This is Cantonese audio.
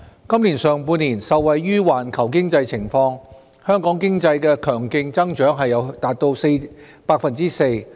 今年上半年，受惠於環球經濟情況，香港經濟強勁增長達 4%。